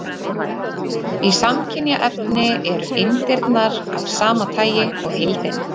Í samkynja efni eru eindirnar af sama tagi og heildin.